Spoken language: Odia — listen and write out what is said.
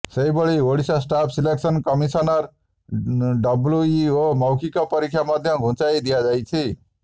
ସେହିଭଳି ଓଡିଶା ଷ୍ଟାଫ ସିଲେକ୍ସନ କମିଶନର ଡବ୍ଲୁଇଓ ମୌଖିକ ପରୀକ୍ଷା ମଧ୍ୟ ଘୁଞ୍ଚାଇଦିଆଯାଇଛି